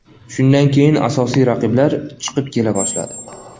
Shundan keyin asosiy raqiblar chiqib kela boshladi.